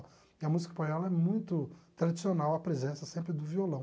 E a música espanhola é muito tradicional, a presença sempre do violão.